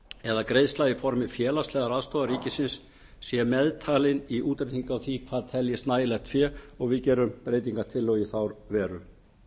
eða greiðsla í formi félagslegrar aðstoðar ríkis sé meðtalin við útreikning á því hvað teljist nægilegt fé og við gerum breytingartillögu í þá veru